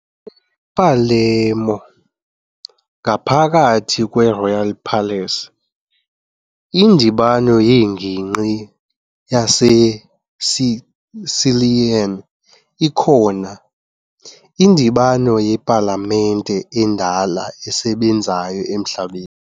Palermo, ngaphakathi kweRoyal Palace, iNdibano yeNgingqi yaseSicilian ikhona, indibano yepalamente endala esebenzayo emhlabeni .